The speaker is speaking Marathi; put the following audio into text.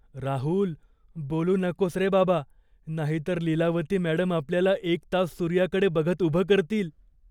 राहुल! बोलू नकोस रे बाबा, नाहीतर लीलावती मॅडम आपल्याला एक तास सूर्याकडे बघत उभं करतील.